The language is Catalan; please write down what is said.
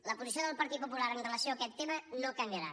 la posició del parit popular en relació amb aquest tema no canviarà